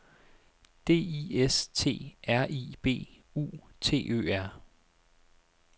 D I S T R I B U T Ø R